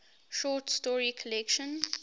short story collection